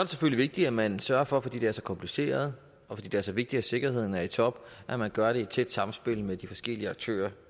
selvfølgelig vigtigt at man sørger for fordi det er så kompliceret og fordi det er så vigtigt at sikkerheden er i top at man gør det i et tæt samspil med de forskellige aktører